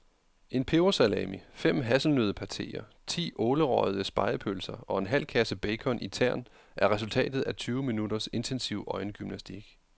En pebersalami, fem hasselnøddepateer, ti ålerøgede spegepølser og en halv kasse bacon i tern er resultatet af tyve minutters intensiv øjengymnastik.